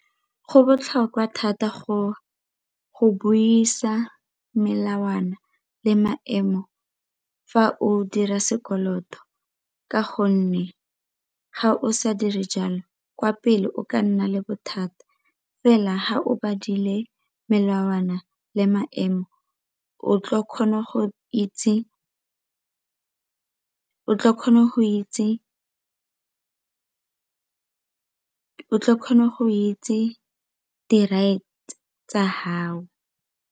Go botlhokwa thata go buisa melawana le maemo fa o dira sekoloto ka gonne ga o sa dire jalo kwa pele o ka nna le bothata fela ga o bodile melawana le maemo o tla kgona go itse di-right tsa gao.